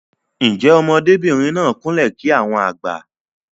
Njé ọmọdé bìrìn náà kún lè kí àwọn àgbà?